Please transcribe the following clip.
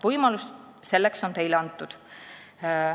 Võimalus selleks on Teile antud.